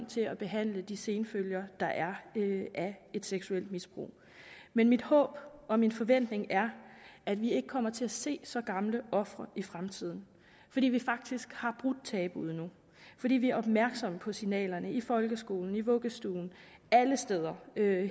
til at behandle de senfølger der er af et seksuelt misbrug men mit håb og min forventning er at vi ikke kommer til at se så gamle ofre i fremtiden fordi vi faktisk har brudt tabuet nu fordi vi er opmærksomme på signalerne i folkeskolen i vuggestuen alle steder